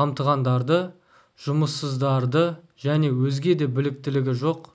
қамтығандарды жұмыссыздарды және өзге де біліктілігі жоқ